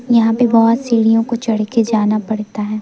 यहां पे बहोत सीढ़ीओ को चढ़के जाना पड़ता है।